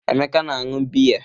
Emeka na-aṅụ biya.